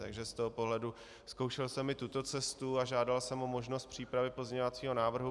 Takže z toho pohledu zkoušel jsem i tuto cestu a žádal jsem o možnost přípravy pozměňovacího návrhu.